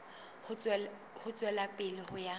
ho tswela pele ho ya